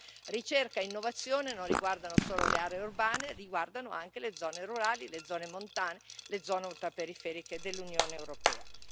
Allora, ricerca e innovazione non riguardano solo le aree urbane, riguardano anche le zone rurali, le zone montane, le zone ultraperiferiche dell'Unione europea.